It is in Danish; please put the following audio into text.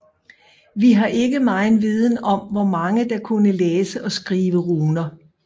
Vi har ikke megen viden om hvor mange der kunne læse og skrive runer